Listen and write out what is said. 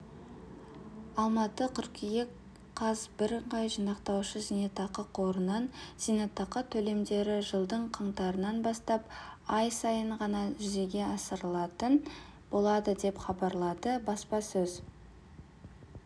алматы қыркүйек қаз бірыңғай жинақтаушы зейнетақы қорынан зейнетақы төлемдері жылдың қаңтарынан бастап ай сайын ғана жүзеге асырылатын болады деп хабарлады баспасөз